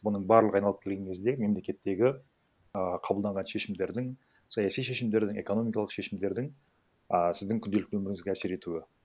бұның барлығы айналып келген кезде мемлекеттегі ііі қабылданған шешімдердің саяси шешімдердің экономикалық шешімдердің а сіздің күнделікті өміріңізге әсер етуі